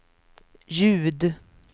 ljud